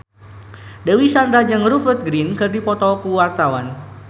Dewi Sandra jeung Rupert Grin keur dipoto ku wartawan